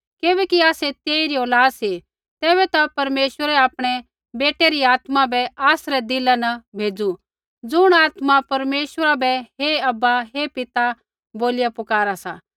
किबैकि आसै तेइरी औलाद सी तेबैता परमेश्वरै आपणै बेटै री आत्मा बै आसरै दिला न भेज़ू ज़ुण आत्मा परमेश्वरा बै हे अब्बा हे पिता बोलिया पुकारा सा